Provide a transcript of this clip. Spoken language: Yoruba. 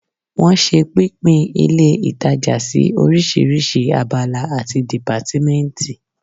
Wọ́n ṣe pínpín ilé ìtajà sí orísirísi abala àti dìpátímẹ́ǹtì